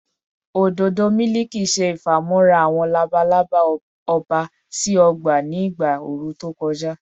ododo miliki ṣe ifamọra awọn labalaba ọba si ọgba ni igba ooru to kọja